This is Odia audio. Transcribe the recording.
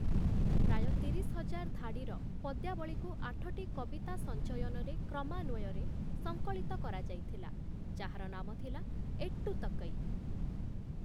ପ୍ରାୟ ତିରିଶ ହଜାର ଧାଡ଼ିର ପଦ୍ୟାବଳୀକୁ ଆଠଟି କବିତା ସଞ୍ଚୟନରେ କ୍ରମାନ୍ଵୟରେ ସଂକଳିତ କରାଯାଇଥିଲା । ଯାହାର ନାମ ଥିଲା 'ଏଟ୍ଟୁତକୈ' ।